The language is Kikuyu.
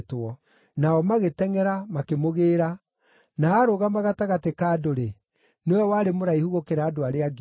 Nao magĩtengʼera, makĩmũgĩĩra, na aarũgama gatagatĩ ka andũ-rĩ, nĩwe warĩ mũraihu gũkĩra andũ arĩa angĩ othe.